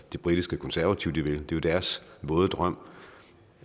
de britiske konservative vil det er jo deres våde drøm